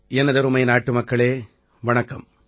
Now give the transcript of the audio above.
எனதருமை நாட்டுமக்களே வணக்கம்